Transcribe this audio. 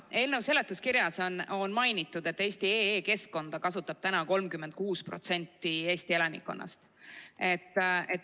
Eelnõu seletuskirjas on mainitud, et eesti.ee keskkonda kasutab 36% Eesti elanikkonnast.